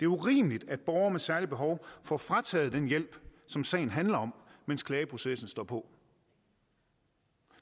urimeligt at borgere med særlige behov får frataget den hjælp som sagen handler om mens klageprocessen står på